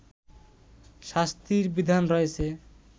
শাস্তির বিধান রয়েছে